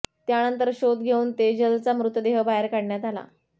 त्यानंतर शोध घेऊन तेजलचा मृतदेह बाहेर काढण्यात आला